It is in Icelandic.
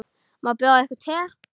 Má bjóða yður te?